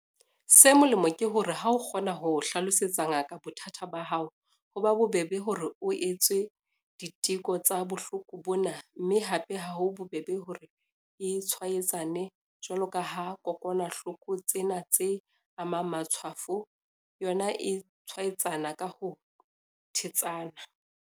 Se molemo ke hore ha o kgona ho hlalosetsa ngaka bothata ba hao, ho ba bobebe hore o etswe diteko tsa bohloko bona mme hape ha ho bobebe hore e tshwaetsane jwalo ka kokwanahloko tsena tse amang matshwafo, yona e tshwaetsana ka ho thetsana.